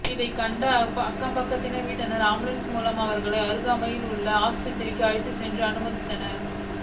இதைக்கண்ட அக்கம்பக்கத்து வீட்டினர் ஆம்புலன்ஸ் மூலம் அவர்களை அருகாமையில் உள்ள ஆஸ்பத்திரிக்கு அழைத்துச் சென்று அனுமதித்தனர்